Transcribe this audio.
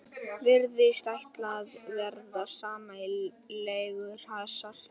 Virðist ætla að verða sæmilegur hasar.